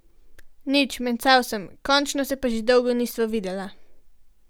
Nič, mencal sem, končno se pa že dolgo nisva videla.